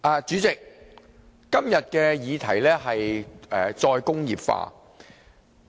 主席，今天的議題是"再工業化"。